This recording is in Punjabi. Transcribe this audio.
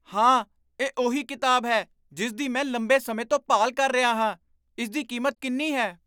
ਹਾਂ! ਇਹ ਉਹੀ ਕਿਤਾਬ ਹੈ ਜਿਸ ਦੀ ਮੈਂ ਲੰਬੇ ਸਮੇਂ ਤੋਂ ਭਾਲ ਕਰ ਰਿਹਾ ਹਾਂ। ਇਸ ਦੀ ਕੀਮਤ ਕਿੰਨੀ ਹੈ?